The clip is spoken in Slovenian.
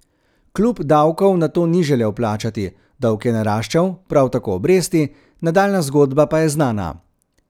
Klub davkov nato ni želel plačati, dolg je naraščal, prav tako obresti, nadaljnja zgodba pa je znana.